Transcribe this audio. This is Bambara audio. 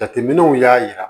Jateminɛw y'a jira